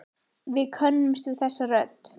Við könnumst við þessa rödd.